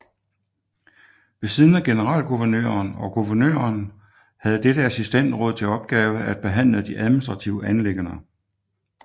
Ved siden af generalguvernøren og guvernøren havde dette assistensråd til opgave at behandle de administrative anliggender